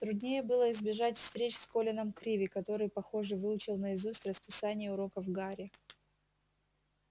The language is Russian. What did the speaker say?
труднее было избежать встреч с колином криви который похоже выучил наизусть расписание уроков гарри